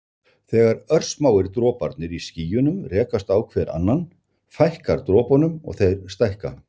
Þegar örsmáir droparnir í skýjunum rekast á hver annan fækkar dropunum og þeir stækka.